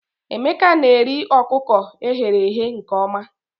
Emeka na-eri ọkụkọ e ghere eghe nke ọma